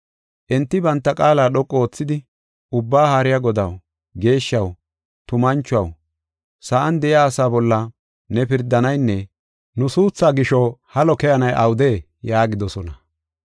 Enti banta qaala dhoqu oothidi, “Ubbaa haariya Godaw, geeshshaw, tumanchuwaw, sa7an de7iya asaa bolla ne pirdanaynne nu suuthaa gisho halo keyanay awudee?” yaagidosona.